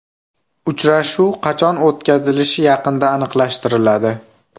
Uchrashuv qachon o‘tkazilishi yaqinda aniqlashtiriladi.